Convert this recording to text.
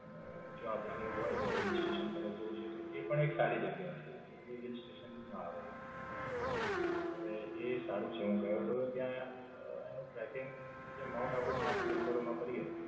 અમ જો આપણ ને એવું હોય કે ભાઈ Hill station પાર જ જવું છે તો એ પણ એક સારી જગ્યા છે. એ Hill station માં આવે. અને એ સારું છે હું ગયો તો ત્યાં. એનું tracking જે માઉન્ટ આબુ માં આપણે જંગલો માં ફરીયે.